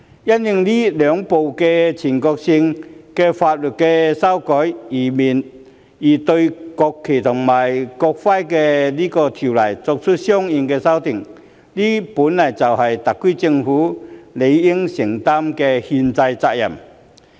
因應這兩項全國性法律的修改而對《國旗及國徽條例》作出相應修訂，本來就是特區政府理應承擔的憲制責任。